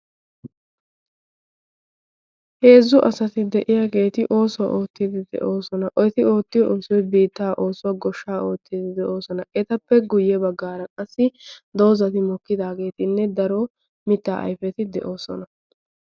heezzu asati de'iyaageeti oosuwaa oottiidi de'oosona. oeti oottiyo onsiyoi biittaa oosuwaa goshsha oottiidi de'oosona. etappe guyye baggaaran qassi doozati mokkidaageetinne daro mittaa aypeti de'oosona.